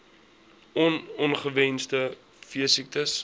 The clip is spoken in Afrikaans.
on ongewenste veesiektes